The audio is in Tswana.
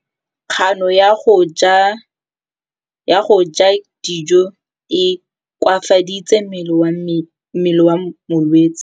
Kganô ya go ja dijo e koafaditse mmele wa molwetse.